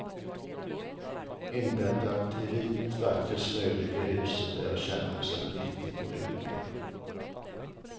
Inbäddat i vit vacker snö ligger huset där jag känner mig som en riktig olympier.